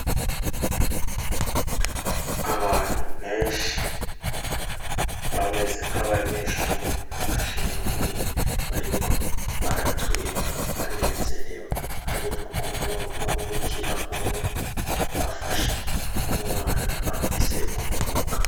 Abantu benshi bameze nk'abanyeshure bashengeye bariko baratwenga banezerewe harimwo n'umubikira umwe afashe umwana afise ubumuga.